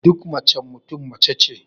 Duk macen Mutum mace ce